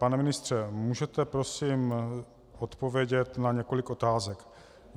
Pane ministře, můžete prosím odpovědět na několik otázek?